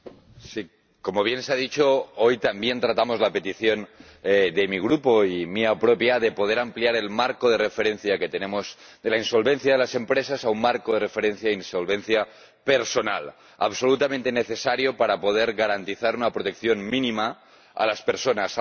Señor Presidente, como bien se ha dicho, hoy también tratamos la petición de mi Grupo, y mía propia, de poder ampliar el marco de referencia que tenemos de la insolvencia de las empresas a un marco de referencia de insolvencia personal, absolutamente necesario para poder garantizar una protección mínima a las personas.